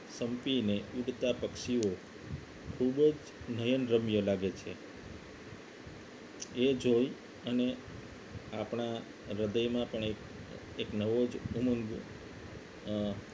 સંપીને ઉડતા પક્ષીઓ ખૂબ જ નયનરમ્ય લાગે છે એ જોઈ અને આપણા હૃદયમાં પણ એક એક નવો જ ઉમંગ અ